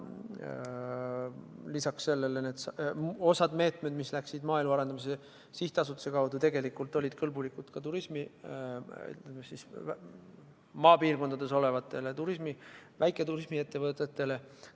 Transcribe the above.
Lisaks sellele oli osa meetmeid, mida võeti Maaelu Edendamise Sihtasutuse kaudu, tegelikult kõlbulikud ka maapiirkondades olevatele väiketurismiettevõtetele.